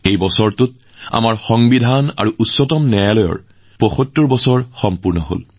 এইবাৰ আমাৰ সংবিধান গৃহীত হোৱাৰ আৰু উচ্চতম ন্যায়ালয় স্থাপনৰো ৭৫ বছৰ সম্পূৰ্ণ কৰিছে